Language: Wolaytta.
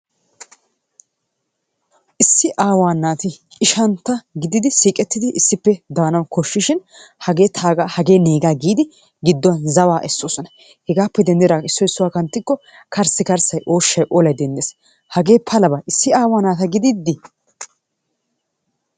Issi awaa naati ishshantta gididi siiqqettidi issippe daanawu kooshishin hagee tagaa hagee negaa giidi giduwaan zawaa essoosona. Hegappe denddidaagan issoy issuwaa kanttiko karssikarssay ooshshay olaay denddees. Hagee palabaa issi awaa naata giididi.